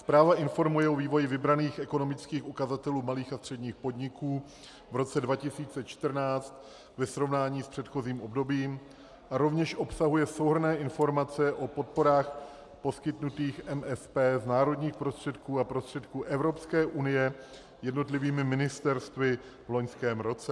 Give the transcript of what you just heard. Zpráva informuje o vývoji vybraných ekonomických ukazatelů malých a středních podniků v roce 2014 ve srovnání s předchozím obdobím a rovněž obsahuje souhrnné informace o podporách poskytnutých MSP z národních prostředků a prostředků Evropské unie jednotlivými ministerstvy v loňském roce.